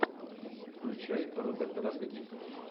включай роберта родригеса